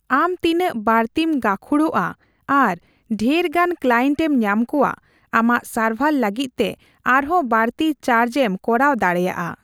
ᱟᱢ ᱛᱤᱱᱟᱹᱜ ᱵᱟᱹᱲᱛᱤᱢ ᱜᱟᱹᱠᱷᱩᱲᱚᱜᱼᱟ ᱟᱨ ᱰᱷᱮᱨ ᱜᱟᱱ ᱠᱞᱟᱭᱮᱱᱴ ᱮᱢ ᱧᱟᱢ ᱠᱚᱣᱟ, ᱟᱢᱟᱜ ᱥᱟᱨᱵᱷᱟᱨ ᱞᱟᱹᱜᱤᱫ ᱛᱮ ᱟᱨᱦᱚᱸ ᱵᱟᱹᱲᱛᱤ ᱪᱟᱨᱡᱽ ᱮᱢ ᱠᱚᱨᱟᱣ ᱫᱟᱲᱮᱹᱭᱟᱜᱼᱟ ᱾